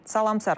Salam Sərxan,